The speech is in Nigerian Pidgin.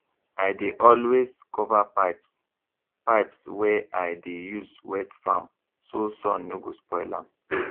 i dey always cover pipes pipes wey i dey use wet farm so sun no go spoil am